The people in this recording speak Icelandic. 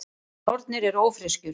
Nornir eru ófreskjur.